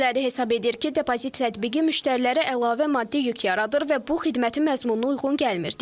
Bəziləri hesab edir ki, depozit tətbiqi müştərilərə əlavə maddi yük yaradır və bu xidmətin məzmununa uyğun gəlmir.